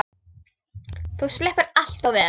Þú sleppur allt of vel.